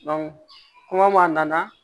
kuma nana